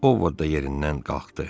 O ovda yerindən qalxdı.